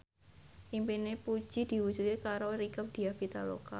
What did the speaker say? impine Puji diwujudke karo Rieke Diah Pitaloka